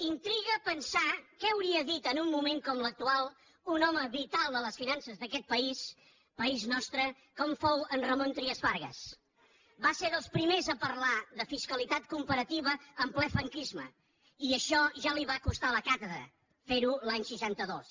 intriga pensar què hauria dit en un moment com l’actual un home vital a les finances d’aquest país país nostre com fou en ramon trias fargas va ser dels primers a parlar de fiscalitat comparativa en ple franquisme i això ja li va costar la càtedra fer ho l’any seixanta dos